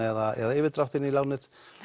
eða yfirdrátt í lánið